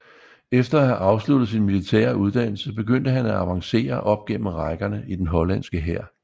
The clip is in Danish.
Efter at have afsluttet sin militære uddannelse begyndte han at avancere op gennem rækkerne i den hollandske hær